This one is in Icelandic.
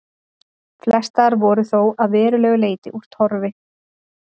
Flestar voru þó að verulegu leyti úr torfi.